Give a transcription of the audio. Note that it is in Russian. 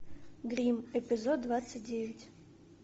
грим эпизод двадцать девять